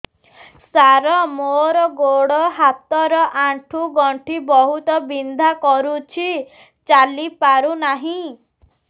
ସାର ମୋର ଗୋଡ ହାତ ର ଆଣ୍ଠୁ ଗଣ୍ଠି ବହୁତ ବିନ୍ଧା କରୁଛି ଚାଲି ପାରୁନାହିଁ